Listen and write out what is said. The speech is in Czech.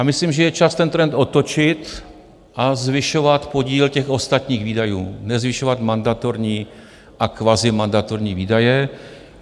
A myslím, že je čas ten trend otočit a zvyšovat podíl těch ostatních výdajů, nezvyšovat mandatorní a kvazimandatorní výdaje.